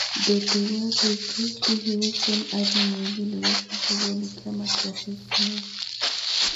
Ndũngĩigua rĩngĩ. Hihi Hussein Ali Mwinyi nĩwe kũthurwo nĩ kiama gĩa CCM?